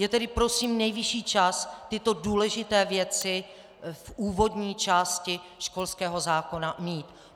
Je tedy prosím nejvyšší čas tyto důležité věci v úvodní části školského zákona mít.